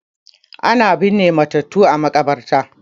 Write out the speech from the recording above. Ana binne matattu a makabarta